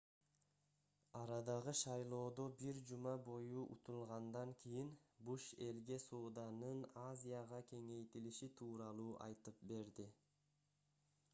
арадагы шайлоодо бир жума бою утулгандан кийин буш элге сооданын азияга кеңейтилиши тууралуу айтып берди